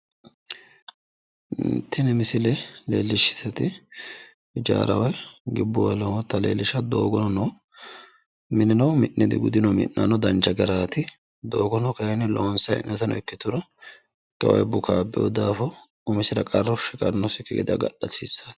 Tini misile leellishshaahu hijaara woyi gibbuwa lowota leellishshawo. Doogono mineno mi'ne digudino mi'nano dancha garaati. Doogono kayinni loonsayi hee'noyita ikkituro bukaabbiwo daafo isira qarru shiqannosikki gede agadha hasissawosi.